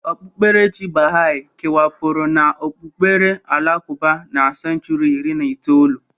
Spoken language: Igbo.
Okpukperechi baha'i kewapụrụ n'okpukpere alakụba na senchuri iri na itoolu